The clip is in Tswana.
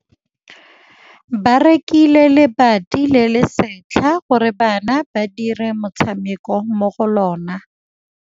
Ba rekile lebati le le setlha gore bana ba dire motshameko mo go lona.